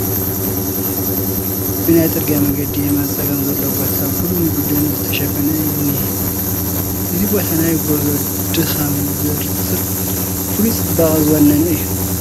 በናይ ፅርጊያ መንገዲ የማነ ፀጋም ዘሎ ቦታ ብልሙዕ ደን ዝተሸፈነ እዩ ዝኒሀ፡፡ እዚ ቦታ ናይ ጉዕዞ ድኻም ዘርስዕ ፍሉይ ፅባቐ ዝወነነ እዩ፡፡